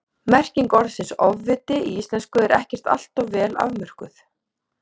Merking orðsins ofviti í íslensku er ekkert alltof vel afmörkuð.